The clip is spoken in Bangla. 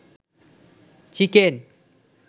চিকেন